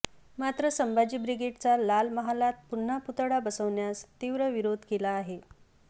मात्र संभाजी ब्रिगेडचा लाल महालात पुन्हा पुतळा बसवण्यास तीव्र विरोध केला आहे